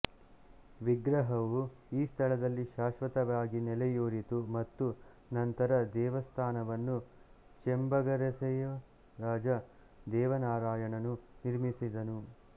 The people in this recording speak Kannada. ವಿಗ್ರಹವು ಈ ಸ್ಥಳದಲ್ಲಿ ಶಾಶ್ವತವಾಗಿ ನೆಲೆಯೂರಿತು ಮತ್ತು ನಂತರ ದೇವಸ್ಥಾನವನ್ನು ಚೆಂಬಗಸೆರಿಯ ರಾಜ ದೇವನಾರಾಯಣನು ನಿರ್ಮಿಸಿದನು